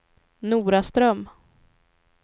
Noraström